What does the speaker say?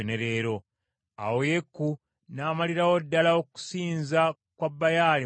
Awo Yeeku n’amalirawo ddala okusinza kwa Baali mu Isirayiri.